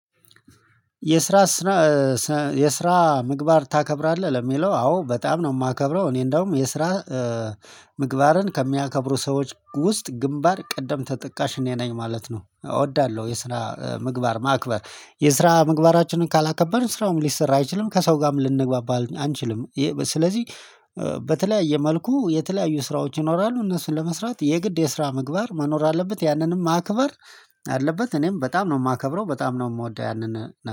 የስራ? ስራ የስራ ምግባር ታከብራለህ ለሚለው አዎ በጣም ነው የማከብረው እኔ እንደውም የስራ ምግባርን ከሚያከብሩ ሰዎች ውስጥ ግንባር ቀደም ተጠቃሽ እኔ ነኝ ማለት ነው። እወዳለሁ የስራ ምግባር ማክበር የስራ ምግባራችንን ካላከበርን ስራውም ሊሰራ አይችልም ከሰው ጋርም ልንግባባል አንችልም። ስለዚህ በተለያየ መልኩ የተለያዩ ስራዎች ይኖራሉ እነሱን ለመስራት የግድ የስራ ምግባር መኖር አለበት ያንንም ማክበር አለበት። እኔም በጣም ነው የማከብረው በጣም ነው የምወደው ያንን